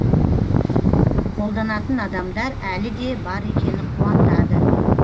қолданатын адамдар әлі де бар екені қуантады